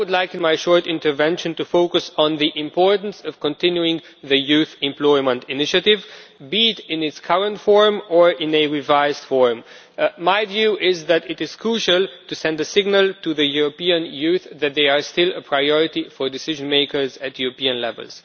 In my short intervention, I would like to focus on the importance of continuing the Youth Employment initiative, be it in its current form or in a revised form. My view is that it is crucial to send a signal to the European youth that they are still a priority for decision makers at European level.